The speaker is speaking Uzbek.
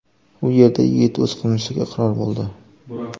U yerda yigit o‘z qilmishiga iqror bo‘ldi.